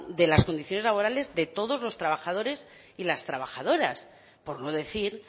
de las condiciones laborales de todos los trabajadores y las trabajadoras por no decir